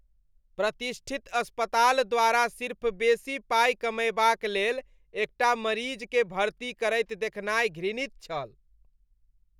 प्रतिष्ठित अस्पताल द्वारा सिर्फ बेसी पाइ कमयबाक लेल एकटा मरीजकेँ भर्ती करैत देखनाइ घृणित छल।